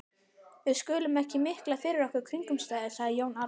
Við skulum ekki mikla fyrir okkur kringumstæður, sagði Jón Arason.